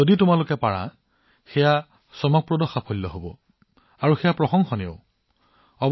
যদি আপুনি এনে কৰে ই এক আশ্চৰ্যকৰ সাফল্য আৰু ইয়াক প্ৰশংসা কৰিব লাগিব